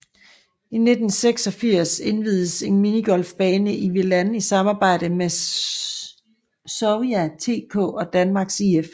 I 1986 inviededes en minigolfbane i Vilan i samarbejde med Sävja TK og Danmarks IF